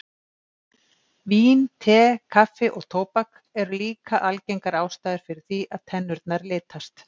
Vín, te, kaffi og tóbak eru líka algengar ástæður fyrir því að tennurnar litast.